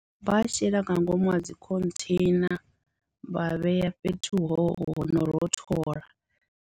Vha a shela nga ngomu ha dzi khontheina vha a vhea fhethu ho no rothola.